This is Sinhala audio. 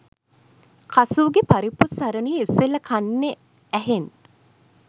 කසූ ගේ පරිප්පු සරණිය ඉස්සෙල්ල කන්නෙ ඇහෙන්